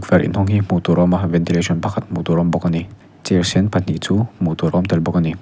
tukverh inhawng hi hmuh tûr a awm a ventilation pakhat hmuh tûr a awm bawk a ni chêr sen pahnih chu hmuh tûr awm tel bawk a ni.